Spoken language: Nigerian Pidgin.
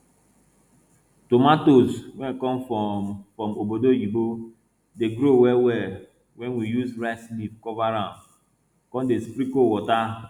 tomatoes wey come from from obodo oyinbo dey grow well well when we use rice leaf cover am con dey sprinkle water